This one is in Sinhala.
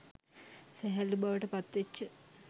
සැහැල්ලු බවට පත්වෙච්ච